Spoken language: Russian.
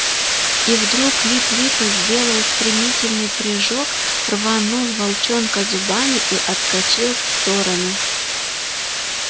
и вдруг лип лип сделал стремительный прыжок рванул волчонка зубами и отскочил в сторону